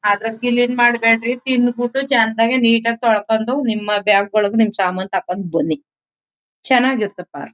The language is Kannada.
ಆದ್ರ ಕಿಲೀನ್ ಮಾಡ್ಬೇಡ್ರಿ. ತಿಂದ್ ಬಿಟ್ಟು ಚಂದಾಗಿ ನೀಟ ಆಗಿ ತೋಳ್ಕಂಡು ನಿಮ್ಮ ಬ್ಯಾಗ್ ಒಳ್ಗೆ ನಿಮ್ ಸಾಮಾನ್ ತಕಂಡ್ ಬನ್ನಿ ಚೆನ್ನಾಗಿರತಪ್ಪ.